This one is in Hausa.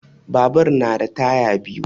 Babur na da taya biyu